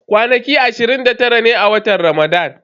Kwanaki ashirin da tara ne a watan Ramadan.